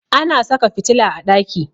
Ana saka fitila a ɗaki.